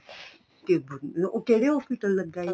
ਕੇ ਉਹ ਕਿਹੜੇ hospital ਲੱਗਾ ਏ